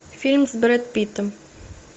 фильм с брэд питтом